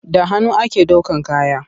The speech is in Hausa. Da hannu ake ɗaukan kaya.